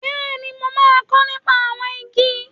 Bẹ́ẹ̀ni, mo máa kọ́ nípa àwọn igi.